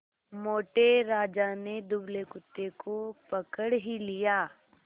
मोटे राजा ने दुबले कुत्ते को पकड़ ही लिया